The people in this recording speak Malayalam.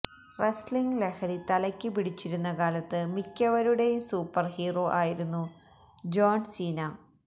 റെസ്ലിംഗ് ലഹരി തലയ്ക്ക് പിടിച്ചിരുന്ന കാലത്ത് മിക്കവരുടെയും സൂപ്പര്ഹീറോ ആയിരുന്നു ജോണ് സീന